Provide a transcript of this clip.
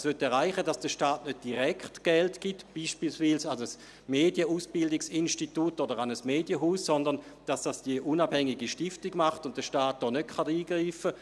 Sie möchte erreichen, dass der Staat nicht direkt Geld gibt, beispielsweise an ein Medieninstitut oder an ein Medienhaus, sondern dass es die unabhängige Stiftung macht und der Staat nicht eingreifen kann.